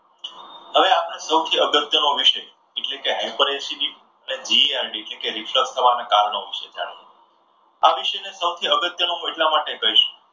હવે આપણે સૌથી અગત્યનો વિષય એટલે કે high per acidity એટલે કે Reflect થવાના કારણો વિશે જાણીએ. આ વિષયને સૌથી અગત્યનો હું એટલા માટે કહીશ,